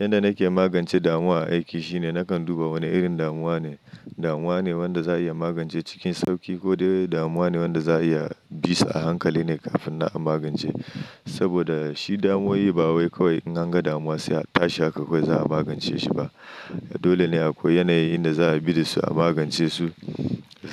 Yanda nake magance damuwa a aiki shine nakan duba wane irin damuwa ne, damuwa ne wanda za'a iya magance cikin sauki ko dai damuwa ne wanda za'a iya bisa a hankali ne kafin nan a magance saboda shi damuwoyi ba wai kawai in anga damuwa sai a tashi haka kawai za a magance shi ba. Dole ne akwai yanayi inda za a bi da shi a magance su